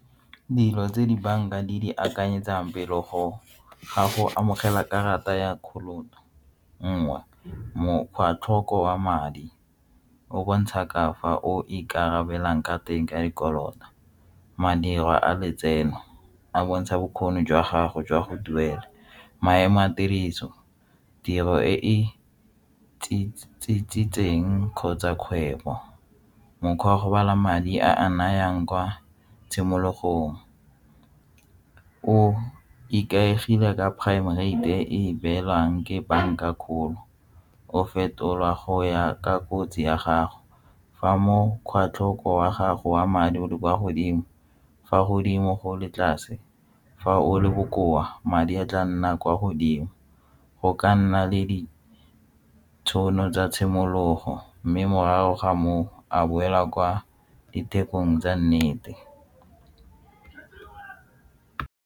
Dilo tse dibanka di di akanyetsang go amogela karata ya o mongwe mokgwa tlhoko wa madi o bontsha ka fa o ikarabele jang ka teng ka di kolota. Madirwa a letseno a bontsha bokgoni jwa gago jwa go duela maemo a tiriso, tiro e e tsietseng kgotsa kgwebo mokgwa wa madi a a nayang kwa tshimologong ka o ikaegile ka prime rate e beelwang ke banka kgolo o fetolwa go ya ka kotsi ya gago fa mo kgwa tlhoko wa gago wa madi o le kwa godimo fa godimo go le tlase fa o le bokoa madi a tla nna kwa godimo go ka nna le ditšhono tsa tshimologo mme morago ga moo a boela kwa dithekong tsa nnete.